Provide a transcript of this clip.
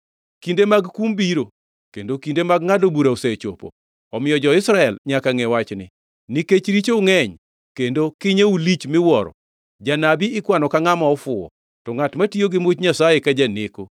Kinde mag kum biro kendo kinde mag ngʼado bura osechopo. Omiyo jo-Israel nyaka ngʼe wachni. Nikech richou ngʼeny kendo kinyou lich miwuoro, janabi ikwano ka ngʼama ofuwo, to ngʼat matiyo gi much Nyasaye ka janeko.